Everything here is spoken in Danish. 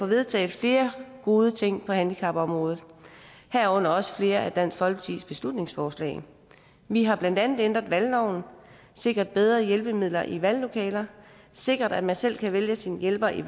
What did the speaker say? vedtaget flere gode ting på handicapområdet herunder også flere af dansk folkepartis beslutningsforslag vi har blandt andet ændret valgloven sikret bedre hjælpemidler i valglokaler sikret at man selv kan vælge sin hjælper i